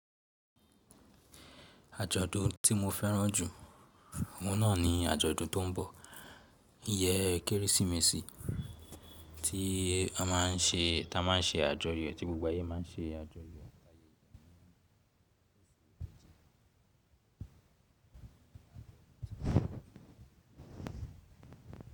Àjọ̀dún tí mo fẹ́ràn jù, òhun náà ni àjọ̀dún tó ń bọ̀, iyẹ́ Kérésìmesì tí a má ń se, ta má ń se àjọyọ̀, tí gbogbo ayé má ń se àjọyọ̀.